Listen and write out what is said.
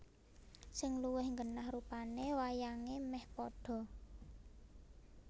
Sing luwih genah rupane wayange meh padha